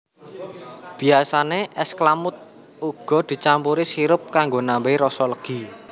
Biyasane es klamud uga dicampuri sirup kanggo nambahai rasa legi